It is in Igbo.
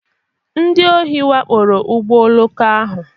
Ndị ohi wakporo ụgbọ oloko ahụ.